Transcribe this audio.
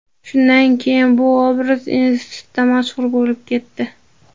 Shundan keyin bu obraz institutda mashhur bo‘lib ketdi.